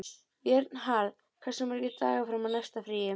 Vernharð, hversu margir dagar fram að næsta fríi?